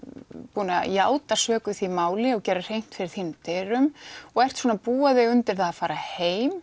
búin að játa sök í því máli og gerir hreint fyrir þínum dyrum og ert svona bara búa þig undir það að fara heim